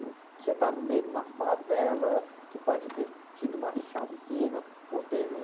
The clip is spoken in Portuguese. Você está no meio de uma favela que pode ter tido uma chacina ou teve um...